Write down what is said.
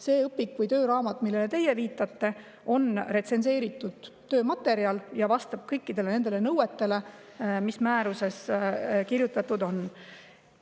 See õpik või tööraamat, millele teie viitate, on retsenseeritud töömaterjal ja vastab kõikidele nõuetele, mis määruses kirjutatud on.